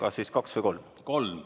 Kas siis kaks või kolm?